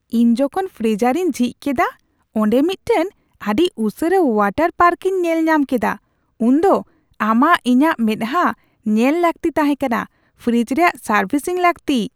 ᱤᱧ ᱡᱚᱠᱷᱚᱱ ᱯᱷᱨᱤᱡᱟᱨᱤᱧ ᱡᱷᱤᱡ ᱠᱮᱫᱟ ᱟᱨ ᱚᱸᱰᱮ ᱢᱤᱫᱴᱟᱝ ᱟᱹᱰᱤ ᱩᱥᱟᱹᱨᱟ ᱳᱣᱟᱴᱟᱨ ᱯᱟᱨᱠᱤᱧ ᱧᱮᱞᱧᱟᱢ ᱠᱮᱫᱟ ᱩᱱᱫᱚ ᱟᱢᱟᱜ ᱤᱧᱟᱹᱜ ᱢᱮᱫᱦᱟᱸ ᱧᱮᱞ ᱞᱟᱹᱠᱛᱤ ᱛᱟᱦᱮᱸ ᱠᱟᱱᱟ ᱾ ᱯᱷᱨᱤᱡ ᱨᱮᱭᱟᱜ ᱥᱟᱨᱵᱷᱤᱥᱤᱝ ᱞᱟᱹᱠᱛᱤ ᱾